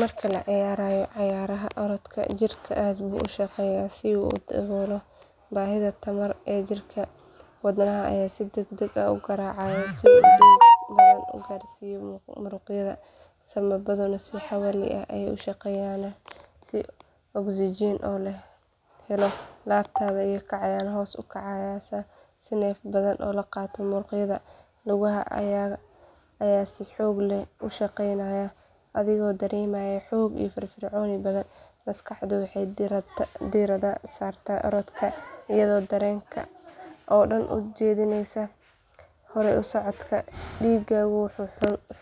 Marka la ciyaarayo cayaaraha orodka, jirka aad buu u shaqeeyaa si uu u daboolo baahida tamar ee jirka. Wadnaha ayaa si degdeg ah u garaacaya si uu dhiig badan u gaarsiiyo muruqyada, sambabaduna si xawli ah bay u shaqeynayaan si oksijiin loo helo. Laabta ayaa kacaysa oo hoos u dhaceysa si neef badan loo qaato, muruqyada lugaha ayaa si xoog leh u shaqeynaya, adigoo dareemaya xoog iyo firfircooni badan. Maskaxdu waxay diiradda saartaa orodka, iyadoo dareenka oo dhan u jeedinaysa horay u socodka. Dhiiggu wuxuu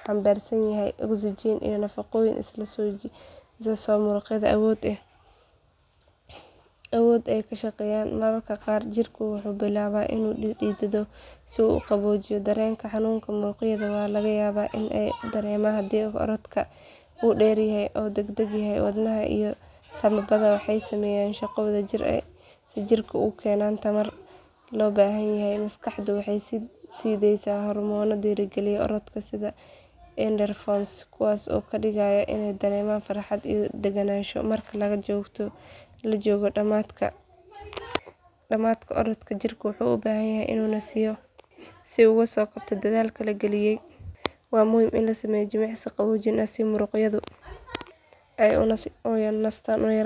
xambaarsan yahay oksijiin iyo nafaqooyin si loo siiyo muruqyada awood ay ku shaqeeyaan. Mararka qaar, jirku wuxuu bilaabaa inuu dhidido si uu u qaboojiyo. Dareenka xanuunka muruqyada waa laga yaabaa in la dareemo haddii orodka uu dheer yahay ama degdeg yahay. Wadnaha iyo sambabada waxay sameeyaan shaqo wadajir ah si ay jirka ugu keenaan tamarta loo baahan yahay. Maskaxdu waxay sii deysaa hormoono dhiirrigeliya orodka sida endorphins kuwaas oo kaa dhigaya inaad dareento farxad iyo daganaansho. Marka la joogo dhammaadka orodka, jirku wuxuu u baahan yahay inuu nasiyo si uu uga soo kabto dadaalka la geliyay. Waa muhiim in la sameeyo jimicsiyo qaboojin ah si muruqyada ay u nastaan una yaraan karto xanuunka.